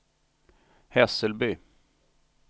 Hässelby